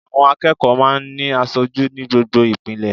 Àwọn akẹ́kọ̀ọ́ máa ń ní asojú ní gbogbo ìpele